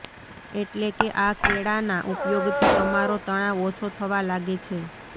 એટલે કે આ કેળાનાં ઉપયોગથી તમારો તણાવ ઓછો થવા લાગે છે